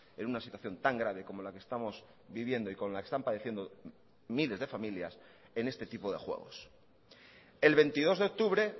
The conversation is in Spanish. en una situación tan grave como la que estamos viviendo y con la que están padeciendo miles de familias en este tipo de juegos el veintidós de octubre